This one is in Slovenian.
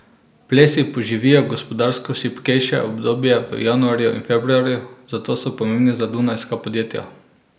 Plesi poživijo gospodarsko šibkejše obdobje v januarju in februarju, zato so pomembni za dunajska podjetja.